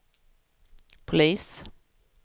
polis